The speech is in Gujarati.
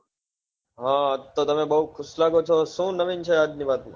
હા આજ તો તમે બવ ખુશ લાગો છો શું નવીન છે આજ ની વાત માં